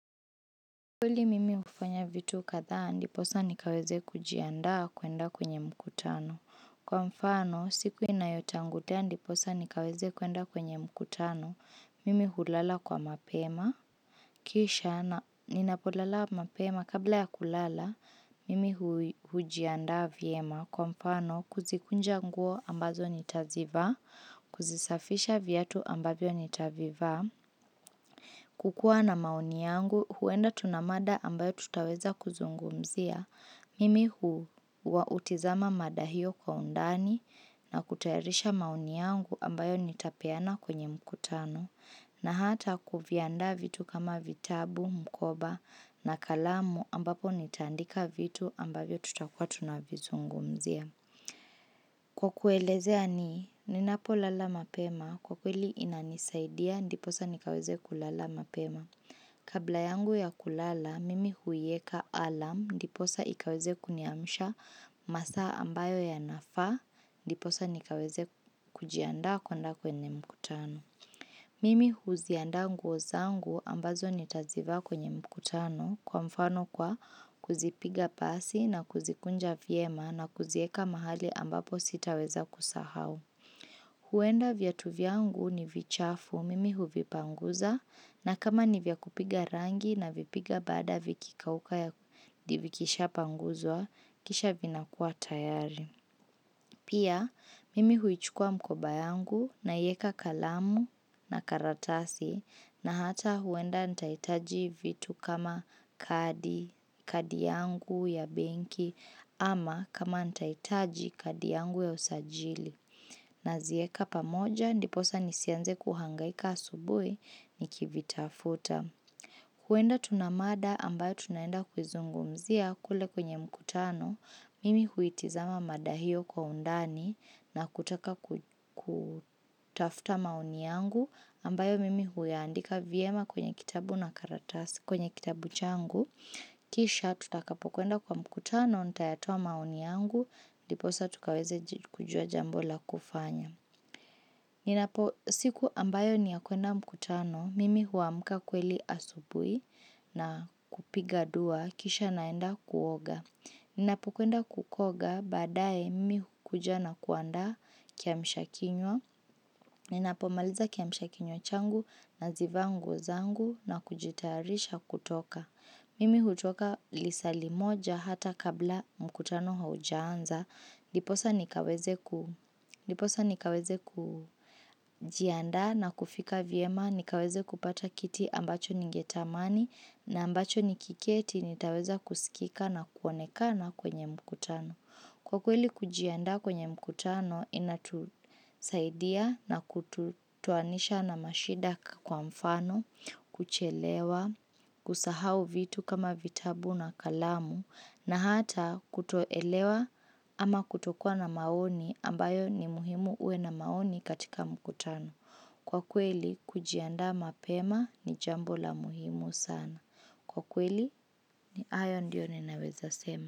Kweli mimi hufanya vitu kadhaa ndiposa nikaweze kujiandaa kuenda kwenye mkutano. Kwa mfano, siku inayotangulia ndiposa nikaweze kuenda kwenye mkutano, mimi hulala kwa mapema. Kisha, ninapolala mapema kabla ya kulala, mimi hujiandaa vyema. Kwa mfano, kuzikunja nguo ambazo nitazivaa, kuzisafisha viatu ambavyo nitavivaa. Kukua na maoni yangu huenda tuna mada ambayo tutaweza kuzungumzia, mimi huwa hutizama mada hiyo kwa undani na kutayarisha maoni yangu ambayo nitapeana kwenye mkutano na hata kuviandaa vitu kama vitabu, mkoba na kalamu ambapo nitaandika vitu ambavyo tutakuwa tunavizungumzia. Kwa kuelezea ni, ninapolala mapema, kwa kweli inanisaidia, ndiposa nikaweze kulala mapema. Kabla yangu ya kulala, mimi huiweka alarm, ndiposa ikaweze kuniamisha masaa ambayo ya nafaa, ndiposa nikaweze kujiandaa kuenda kwenye mkutano. Mimi huziandaa nguo zangu ambazo nitazivaa kwenye mkutano kwa mfano kwa kuzipiga pasi na kuzikunja vyema na kuziweka mahali ambapo sitaweza kusahau. Huenda viatu vyangu ni vichafu, mimi huvipanguza na kama ni vya kupiga rangi na vipiga baada vikikauka ya vikisha panguzwa, kisha vinakuwa tayari. Pia mimi huichukua mkoba yangu naiweka kalamu na karatasi na hata huenda nitahitaji vitu kama kadi, kadi yangu ya benki ama kama nitahitaji kadi yangu ya usajili. Naziweka pamoja ndiposa nisianze kuhangaika asubuhi nikivitafuta. Huenda tuna mada ambayo tunaenda kuizungumzia kule kwenye mkutano, mimi huitizama mada hiyo kwa undani na kutaka kutafuta maoni yangu ambayo mimi huyaandika vyema kwenye kitabu na karatasi kwenye kitabu changu. Kisha tutakapokwenda kwa mkutano, nitayatoa maoni yangu, ndiposa tukaweze kujua jambo la kufanya. Ninapo siku ambayo ni ya kuenda mkutano, mimi huamka kweli asubuhi na kupiga dua, kisha naenda kuoga. Ninapo kuenda kukoga, baadaye mimi hukuja na kuandaa kiamsha kinywa. Ninapomaliza kiamsha kinywa changu nazivaa nguo zangu na kujitarisha kutoka. Mimi hutoka lisaa limoja hata kabla mkutano haujaanza, ndiposa nikaweze nikaweze kujiandaa na kufika vyema, nikaweze kupata kiti ambacho ningetamani na ambacho nikiketi nitaweza kusikika na kuonekana kwenye mkutano. Kwa kweli kujiandaa kwenye mkutano inatusaidia na kututoanisha na mashida kwa mfano, kuchelewa, kusahau vitu kama vitabu na kalamu, na hata kutoelewa ama kutokuwa na maoni ambayo ni muhimu uwe na maoni katika mkutano. Kwa kweli kujiandaa mapema ni jambo la muhimu sana. Kwa kweli ni hayo ndiyo ninaweza sema.